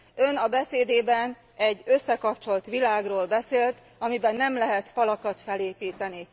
Ön a beszédében egy összekapcsolt világról beszélt, amiben nem lehet falakat felépíteni.